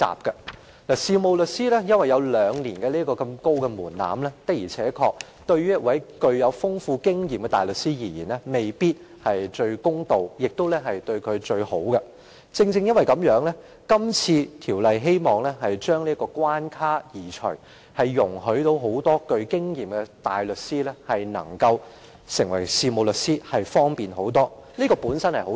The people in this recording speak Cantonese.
由於事務律師必須通過兩年培訓這道頗高的門檻，對於擁有豐富經驗的大律師而言，的確未必是最公道或最好，所以《修訂規則》希望移除這關卡，令富經驗的大律師轉業成為事務律師時更方便，這本是一件好事。